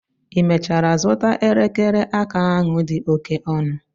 i mechara zụta elekere aka ahụ dị oke ọnụ?